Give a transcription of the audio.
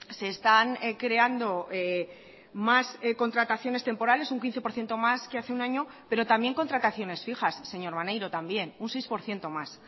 se están creando más contrataciones temporales un quince por ciento más que hace un año pero también contrataciones fijas señor maneiro también un seis por ciento más